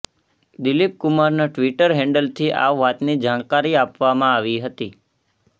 દિલીપ કુમારના ટ્વિટર હેન્ડલથી આ વાતની જાણકારી આપવામાં આવી હતી